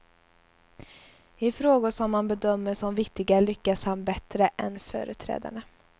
I frågor som han bedömer som viktiga lyckas han bättre än företrädarna.